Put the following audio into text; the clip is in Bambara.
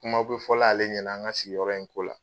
Kumaw be fɔla ale ɲɛna an ŋa sigiyɔrɔ in ko la